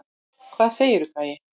Hvað segirðu, gæi?